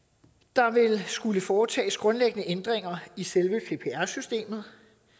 der ville skulle foretages grundlæggende ændringer i selve cpr systemet